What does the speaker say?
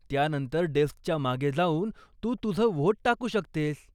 त्यानंतर, डेस्कच्या मागे जाऊन तू तुझं व्होट टाकू शकतेस.